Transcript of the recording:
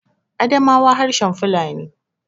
Adamawa harshen Fulani